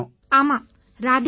ஆமாம் ராதே ராதே